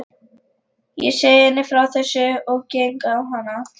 Ég segi henni frá þessu og geng á hana.